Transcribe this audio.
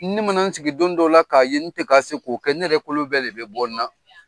Ne ma na n sigi don dɔ la ka ye n tɛ ka se k'o kɛ , ne yɛrɛ kɔlɔ bɛɛ de bɛ bɔ n na.